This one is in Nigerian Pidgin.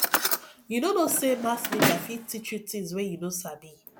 you no know sey mass media fit teach you tins wey you no sabi